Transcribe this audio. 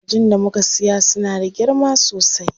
Kajin da muka siya suna da girma sosai.